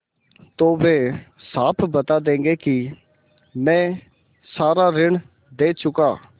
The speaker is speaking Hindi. तो वे साफ बता देंगे कि मैं सारा ऋण दे चुका